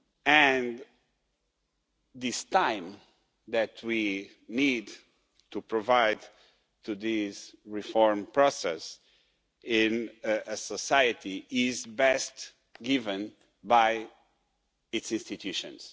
And this time that we need to provide this reform process with in a society is best given by its institutions.